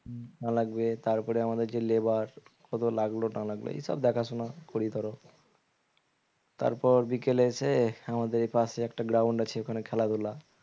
লাগবে তারপরে আমাদের যে labour কত লাগলো না লাগলো এসব দেখাশোনা করি ধরো তারপর বিকেলে এসে আমাদের এপাশে একটা ground আছে ওখানে খেলাধুলা